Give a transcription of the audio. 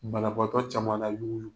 Banabagatɔ caman na yee